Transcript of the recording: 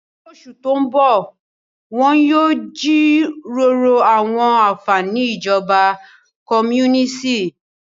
Ní oṣù tó ń bọ̀, wọn yóò jíròrò àwọn àfààní ìjọba kọ́múníìsì.